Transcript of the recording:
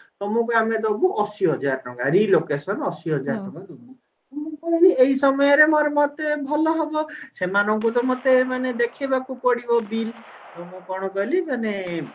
ତମକୁ ଆମେ ଦବୁ ଅଶିହଜାର ଟଙ୍କା relocation ଅଶିହଜାରେ ଟଙ୍କା ମୁଁ କହିଲି ଏଇ ସମୟରେ ମୋର ମତେ ଭଲ ହବ ସେମାନଙ୍କୁ ତ ମତେ ମାନେ ଦେଖେଇବାକୁ ପଡିବ bill ତ ମୁଁ କଣ କଲି ମାନେ